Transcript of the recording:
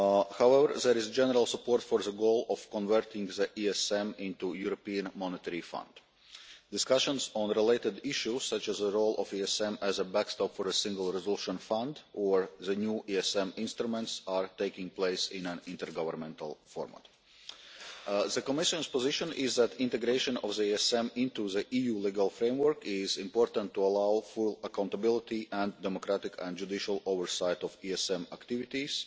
However, there is general support for the goal of converting the ESM into the European Monetary Fund. Discussions on related issues, such as the role of the ESM as a backstop for a Single Resolution Fund or the new ESM instruments, are taking place in an intergovernmental format. The Commission's position is that integration of the ESM into the EU legal framework is important to allow full accountability and democratic and judicial oversight of ESM activities,